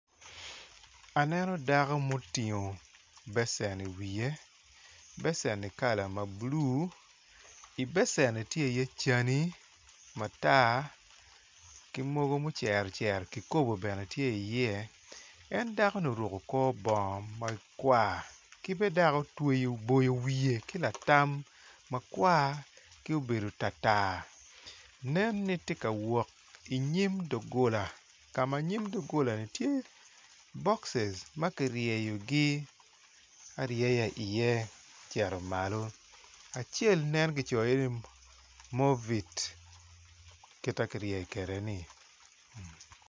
Aneno dako ma otingo becen iwiye becenni kala ma blu i becenni tye iye cani matar ki mogo ma ocero ocero kikopo bene tye iye en dakoni oruko kor bongo makwar ki bene dok otweyo oboyo wiye ki latam ma kwar ki obedo tartar nen ni tye ka wot inyim dogola ka ma nyim dogolani tye bokci ma kiryeyogi aryeya iye ocito malo acel nen kicoyo iye ni movit kita kiryeyo kwedeni.